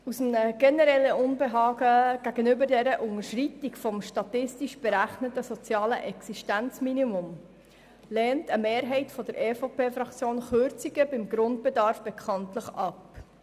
Aus einem generellen Unbehagen gegenüber der Unterschreitung des statistisch berechneten sozialen Existenzminimums lehnt eine Mehrheit der EVP-Fraktion Kürzungen beim Grundbedarf bekanntlich ab.